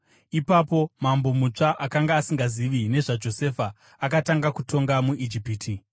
Ipapo mambo mutsva, akanga asingazivi nezvaJosefa, akatanga kutonga muIjipiti.